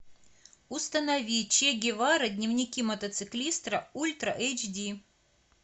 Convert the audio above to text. установи че гевара дневники мотоциклиста ультра эйч ди